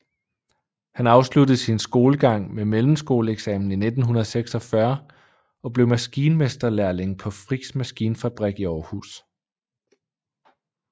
Han afsluttede sin skolegang med mellemskoleeksamen i 1946 og blev maskinmesterlærling på Frichs Maskinfabrik i Aarhus